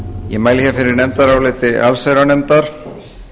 ég mæli fyrir nefndaráliti allsherjarnefndar